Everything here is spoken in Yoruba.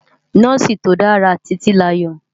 Nòsi tó dàrá Titilayo